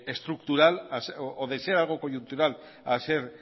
estructural o de ser algo coyuntural a ser